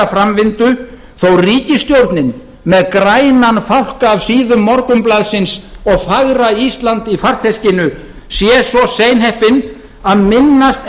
framvindu þó ríkisstjórnin með grænan fálka af síðum morgunblaðsins og fagra ísland í farteskinu sé svo seinheppin að minnast